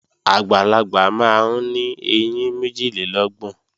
Àgbàlagbà máa ń ní ẹyín méjìlélọ́gbọ̀n